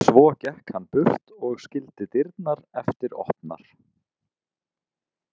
Svo gekk hann burt og skildi dyrnar eftir opnar.